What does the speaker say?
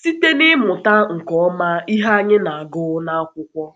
Site n’ịmụta nke ọma ihe anyị na-agụ n’akwụkwọ.